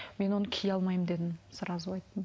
мен оны кие алмаймын дедім сразу айттым